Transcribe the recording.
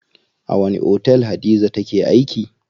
A wani otel Hadiza take aiki?